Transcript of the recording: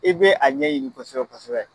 E be a ɲɛɲini kosɛbɛ kosɛbɛ